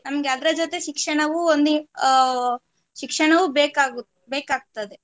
ನಮ್ಗೆ ಅದ್ರ ಜೊತೆ ಶಿಕ್ಷಣವು ಒಂದು ಅಹ್ ಶಿಕ್ಷಣವು ಬೇಕಾಗು~ ಬೇಕಾಗ್ತದೆ.